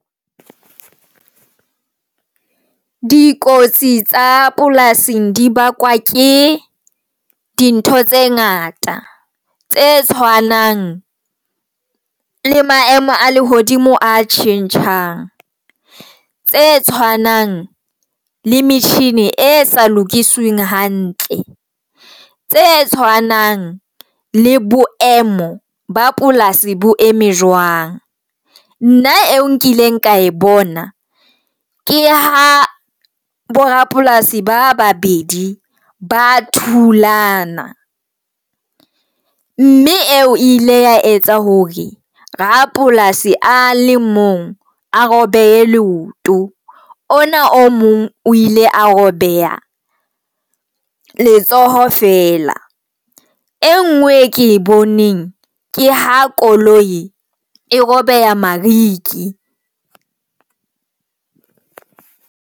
Dikotsi tsa polasing di bakwa ke dintho tse ngata tse tshwanang le maemo a lehodimo a tjhentjhang, tse tshwanang le metjhini e sa lokisweng hantle, tse tshwanang le boemo ba polasi bo eme jwang. Nna eo nkileng ka e bona ke ha bo rapolasi ba babedi ba thulana, mme eo ile ya etsa hore rapolasi a le mong a robehe leoto ona o mong o ile a robeha letsoho fela. Engwe ke boneng ke ha koloi e robeha mariki.